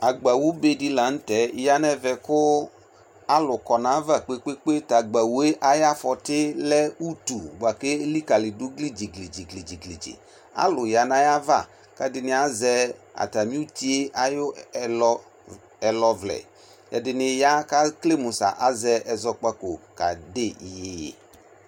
Agbawʋ bedi lanʋtɛ yanʋ ɛvɛ kʋ alʋ kɔ nʋ ayava kprkpekpe tʋ agbawue ayʋ afɔti lɛ ʋtʋ bʋakʋ elekalidʋ dziglidziglidzi alʋ yanʋ ayava kʋ ɛdini azɛ atami ʋtiyɛ ɛlɔvlɛ ɛdini ya kʋ ekele mʋ sʋ azɛ ɛzɔkpako kede iyeye